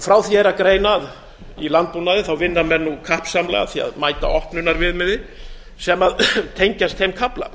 frá því er að greina að í landbúnaði vinna menn nú kappsamlega að því að mæta opnunarviðmiðum sem tengjast þeim kafla